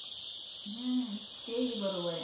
हम्म हम्म ते ही बरोबर आहे.